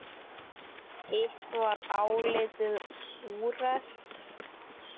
Hitt var álitið úrelt.